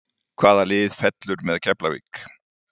Hvaða lið fellur með Keflavík?